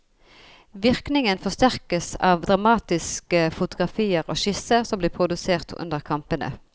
Virkningen forsterkes av dramatiske fotografier og skisser som ble produsert under kampene.